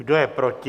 Kdo je proti?